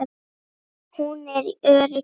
Hún er öryrki.